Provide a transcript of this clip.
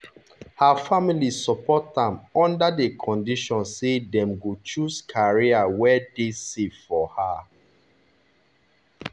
her family support am under the condition say them go choose career wey deysafe for her.